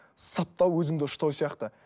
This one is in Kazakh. саптау өзіңді ұштау сияқты